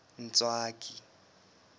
ntswaki